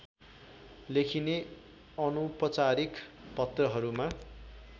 लेखिने अनौपचारिक पत्रहरूमा